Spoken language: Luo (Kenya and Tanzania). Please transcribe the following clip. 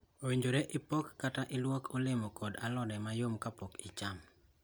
Owinjore ipok kata iluok olemo kod alode mayom kapok ichamo.